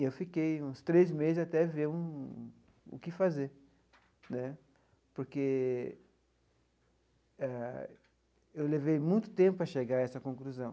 E eu fiquei uns três meses até ver um o que fazer né, porque eh eu levei muito tempo para chegar a essa conclusão.